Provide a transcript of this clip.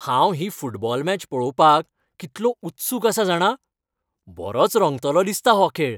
हांव ही football match पळोवपाक कितलो उत्सूक आसा जाणा? बरोच रंगतलोसो दिसता हो खेळ.